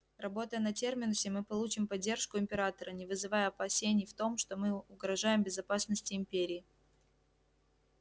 работая на терминусе мы получим поддержку императора не вызывая опасений в том что мы угрожаем безопасности империи